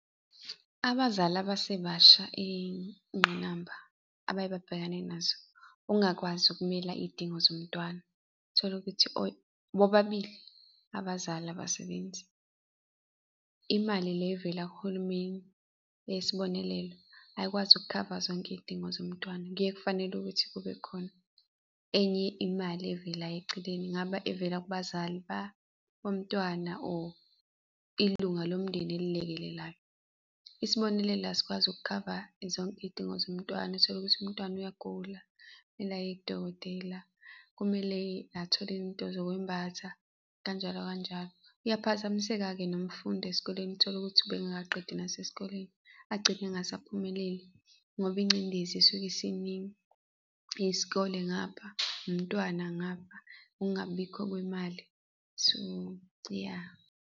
Abazali abasebasha iy'ngqinamba abaye babhekane nazo, ukungakwazi ukumela iy'dingo zomntwana, tholukuthi bobabili abazali abasebenzi. Imali le evela kuhulumeni eyesibonelelo ayikwazi ukukhava zonke iy'dingo zomntwana, kuye kufanele ukuthi kube khona enye imali evelayo eceleni. Ingabe ivela kubazali bomntwana or ilunga lomndeni elilekelelayo. isibonelele la sikwazi ukukhava zonke iy'dingo zomntwana, uthole ukuthi umntwana uyagula, kumele aye kudokotela, kumele athole into zokwembatha, kanjalo kanjalo. Uyaphazamiseka-ke nomfundi esikoleni utholukuthi ubungakaqedi nasesikoleni, agcine engasaphumeleli, ngoba ingcindezi isuke isiningi, isikole ngapha, umntwana ngapha ukungabikho kwemali, so ya.